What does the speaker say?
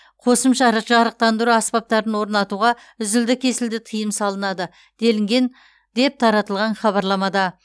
қосымша ры жарықтандыру аспаптарын орнатуға үзілді кесілді тыйым салынады делінген деп таратылған хабарламада